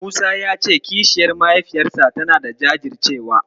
Musa ya ce kishiyar mahaifiyarsa tanada jajircewa.